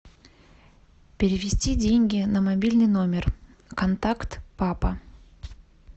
перевести деньги на мобильный номер контакт папа